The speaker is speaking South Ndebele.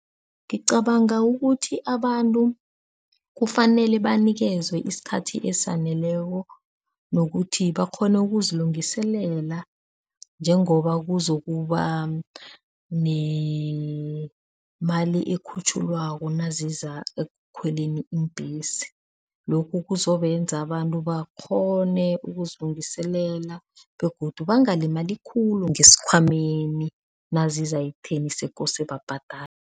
Ngicabanga ukuthi abantu kufanele banikezwe isikhathi esaneleko nokuthi bakghone ukuzilungiselela njengoba kuzokuba nemali ekhutjhiwako naziza ekukhweleni iimbhesi, lokhu kuzobenza abantu bakghone ukuzilungiselela begodu bangalimali khulu ngesikhwameni naziza ekutheni sekose babhadale.